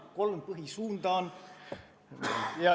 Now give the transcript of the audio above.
On kolm põhisuunda.